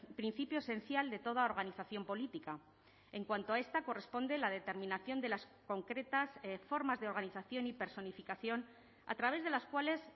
principio esencial de toda organización política en cuanto a esta corresponde la determinación de las concretas formas de organización y personificación a través de las cuales